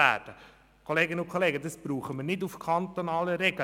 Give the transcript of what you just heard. Wir brauchen dies nicht auf kantonaler Ebene.